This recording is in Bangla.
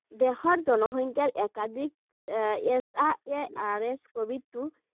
দেশৰ জনসংখ্যাৰ একাধিক এর s r a s covid two